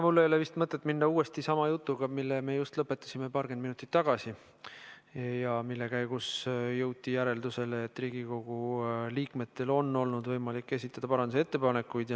Mul ei ole vist mõtet minna uuesti sama jutuga, mille me just paarkümmend minutit tagasi lõpetasime ja mille käigus jõuti järeldusele, et Riigikogu liikmetel on olnud võimalik esitada parandusettepanekuid.